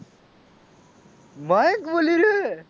મયંક બોલી રહ્યો છે.